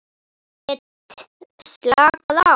Get slakað á.